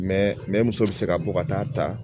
ne muso bɛ se ka bɔ ka taa ta